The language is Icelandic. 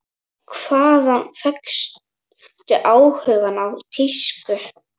Hvaðan fékkstu áhugann á tísku?